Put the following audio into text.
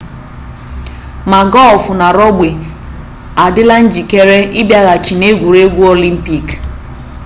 ma gọlfụ na rọgbi adịla njikere ịbịaghachi n'egwuregwu olimpik